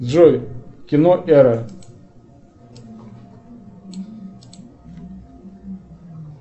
джой кино эра